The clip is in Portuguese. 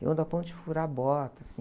Eu ando a ponto de furar bota, assim.